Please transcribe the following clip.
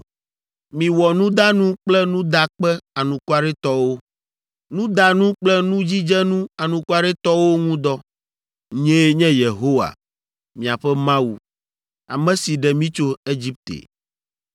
Miwɔ nudanu kple nudakpe anukwaretɔwo, nudanu kple nudzidzenu anukwaretɔwo ŋu dɔ. Nyee nye Yehowa, miaƒe Mawu, ame si ɖe mi tso Egipte.